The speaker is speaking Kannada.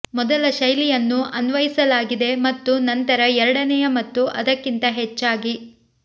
ಮೊದಲ ಶೈಲಿಯನ್ನು ಅನ್ವಯಿಸಲಾಗಿದೆ ಮತ್ತು ನಂತರ ಎರಡನೆಯ ಮತ್ತು ಅದಕ್ಕಿಂತ ಹೆಚ್ಚಾಗಿ